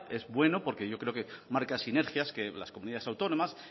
es bueno porque yo creo que marca sinergias que las comunidades autónomas